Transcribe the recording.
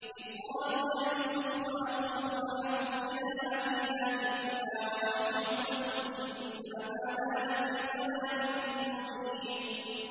إِذْ قَالُوا لَيُوسُفُ وَأَخُوهُ أَحَبُّ إِلَىٰ أَبِينَا مِنَّا وَنَحْنُ عُصْبَةٌ إِنَّ أَبَانَا لَفِي ضَلَالٍ مُّبِينٍ